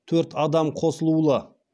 төрт адам қосылулы